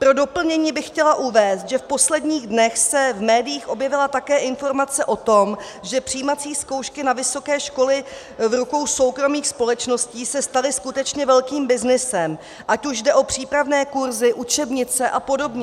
Pro doplnění bych chtěla uvést, že v posledních dnech se v médiích objevila také informace o tom, že přijímací zkoušky na vysoké školy v rukou soukromých společností se staly skutečně velkým byznysem, ať už jde o přípravné kurzy, učebnice a podobně.